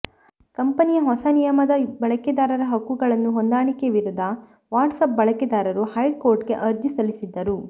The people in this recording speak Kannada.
ಕಂಪೆನಿಯ ಹೊಸ ನಿಯಮವಾದ ಬಳಕೆದಾರರ ಹಕ್ಕುಗಳನ್ನು ಹೊಂದಾಣಿಕೆ ವಿರುದ್ಧ ವಾಟ್ಸಪ್ ಬಳಕೆದಾರರು ಹೈಕೋರ್ಟ್ಗೆ ಅರ್ಜಿ ಸಲ್ಲಿಸಿದ್ದರು